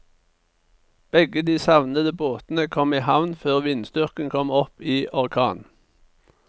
Begge de savnede båtene kom i havn før vindstyrken kom opp i orkan.